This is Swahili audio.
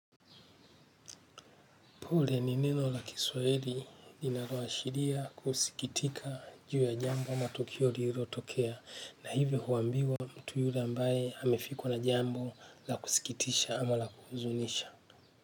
Pule ni neno la kiswahili linaloa shiria kusikitika juu ya jambo ama tukio lilo lotokea na hivyo huambiwa mtu yule ambaye hamefikwa na jambo la kusikitisha ama la kuhuzunisha.